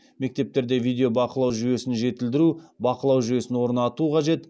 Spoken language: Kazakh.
мектептерде видео бақылау жүйесін жетілдіру бақылау жүйесін орнату қажет